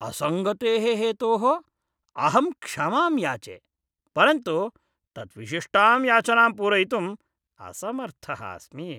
असङ्गतेः हेतोः अहं क्षमां याचे। परन्तु तत् विशिष्टां याचनां पूरयितुं असमर्थः अस्मि।